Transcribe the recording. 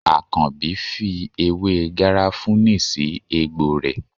Àkànbí fi ewé garafuni sì egbò rẹ.